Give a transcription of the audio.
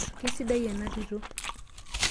Keisidai ena tito.